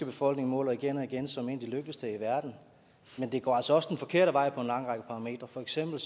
befolkning måles igen og igen som en af de lykkeligste i verden men det går altså også den forkerte vej på en lang række parametre for eksempel